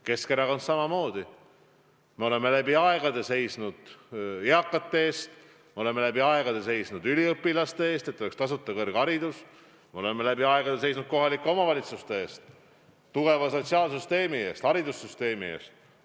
Keskerakond samamoodi: me oleme läbi aegade seisnud eakate eest, me oleme läbi aegade seisnud üliõpilaste eest, et oleks tasuta kõrgharidus, me oleme läbi aegade seisnud kohalike omavalitsuste eest, tugeva sotsiaalsüsteemi eest, haridussüsteemi eest.